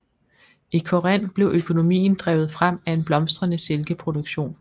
I Korinth blev økonomien drevet frem af en blomstrende silkeproduktion